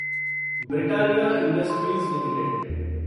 Britannia industries limited